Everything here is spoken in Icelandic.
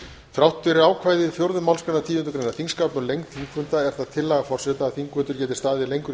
þrátt fyrir ákvæði fjórðu málsgreinar tíundu greinar þingskapa um lengd þingfunda er það tillaga forseta að þingfundur geti staðið lengur í